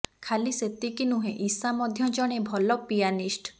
ଖାଲି ସେତିକି ନୁହେଁ ଇଶା ମଧ୍ୟ ଜଣେ ଭଲ ପିଆନିଷ୍ଟ